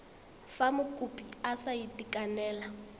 fa mokopi a sa itekanela